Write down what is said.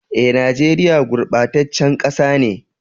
Eh, nageria gurbatacen kasa ne.